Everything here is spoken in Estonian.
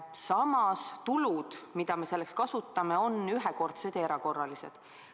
Samas, tulud, mida me selleks kasutame, on ühekordsed ja erakorralised.